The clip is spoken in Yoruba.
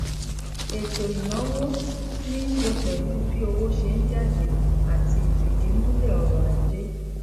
ètò ìnáwó níṣe pèlú bí owó ṣé n jáde àti ìfìdímúlè ọrò ajé